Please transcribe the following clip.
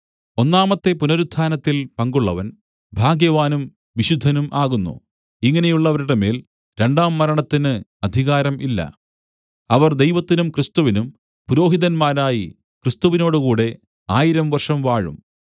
ഒന്നാമത്തെ പുനരുത്ഥാനത്തിൽ പങ്കുള്ളവൻ ഭാഗ്യവാനും വിശുദ്ധനും ആകുന്നു ഇങ്ങനെയുള്ളവരുടെ മേൽ രണ്ടാം മരണത്തിന് അധികാരം ഇല്ല അവർ ദൈവത്തിനും ക്രിസ്തുവിനും പുരോഹിതന്മാരായി ക്രിസ്തുവിനോടുകൂടെ ആയിരം വർഷം വാഴും